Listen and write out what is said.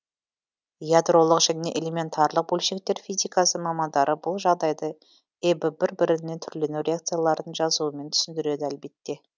ядролық және элементарлық бөлшектер физикасы мамандары бұл жағдайды эб бір біріне түрлену реакцияларын жазумен түсіндіреді әлбетте